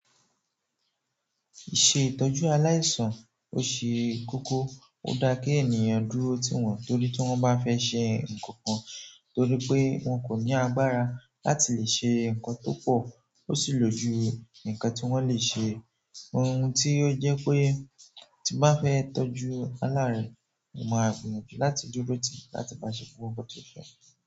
Iṣẹ́ ìtọ́jú aláìsàn ó ṣe kókó, ó dáa kí ènìyàn dúró tí wọ́n torí tí wọ́n bá fẹ́ ṣe nǹkan kan torí pé wọ́n kò ní agbára láti lè ṣe nǹkan tó pọ̀ ó sì lò jú nǹkan tí wọ́n lè ṣe. Ohun tí ó jẹ́ pé tí bá fẹ́ tọ́jú aláàárẹ̀ mó máa gbiyanjù láti dúró tì láti bá ṣe gbogbo tí o fẹ́.